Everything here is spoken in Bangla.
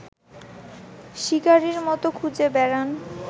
শিকারির মতো খুঁজে বেড়ান